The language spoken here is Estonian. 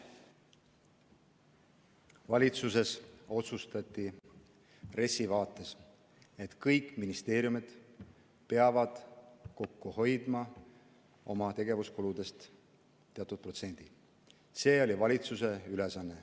Valitsuses otsustati RES-i vaates, et kõik ministeeriumid peavad tegevuskuludest teatud protsendi kokku hoidma.